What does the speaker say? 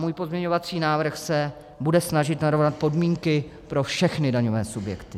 Můj pozměňovací návrh se bude snažit narovnat podmínky pro všechny daňové subjekty.